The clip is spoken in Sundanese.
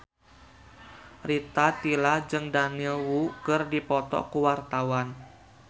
Rita Tila jeung Daniel Wu keur dipoto ku wartawan